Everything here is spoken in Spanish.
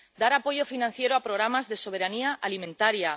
dar apoyo financiero a programas de soberanía alimentaria